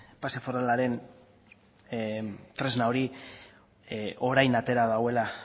pase foralaren tresna hori orain atera duela